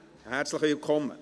Herzlich willkommen.